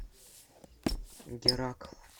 геракл